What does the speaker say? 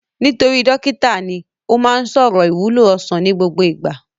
Nítorí dókítà ní, ó má ń sọ̀rọ̀ ìwúlò ọsàn ní gbogbo ìgbà